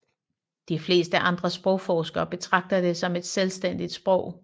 De fleste andre sprogforskere betragter det som et selvstændigt sprog